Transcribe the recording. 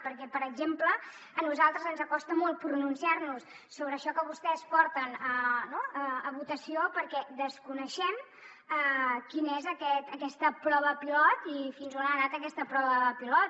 perquè per exemple a nosaltres ens costa molt pronunciar nos sobre això que vostès porten a votació perquè desconeixem quina és aquesta prova pilot i fins on ha anat aquesta prova pilot